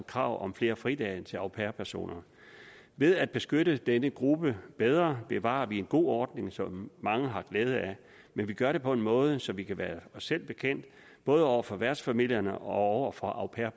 krav om flere fridage til au pair personer ved at beskytte denne gruppe bedre bevarer vi en god ordning som mange har glæde af men vi gør det på en måde så vi kan være os selv bekendt både over for værtsfamilierne og over for au pair